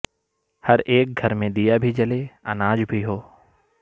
ہر ایک گھر میں دیا بھی جلے اناج بھی ہو